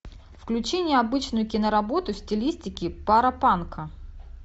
включи необычную киноработу в стилистике паропанка